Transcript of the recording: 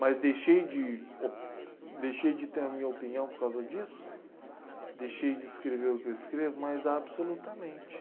Mas deixei de o deixei de ter a minha opinião por causa disso, deixei de escrever o que eu escrevo, mas absolutamente.